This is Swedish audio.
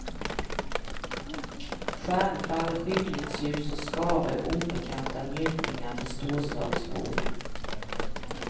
Stjärnfall, skymningsljus och skare är obekanta njutningar för storstadsbon.